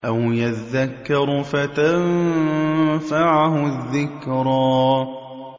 أَوْ يَذَّكَّرُ فَتَنفَعَهُ الذِّكْرَىٰ